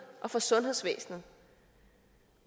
og for sundhedsvæsenet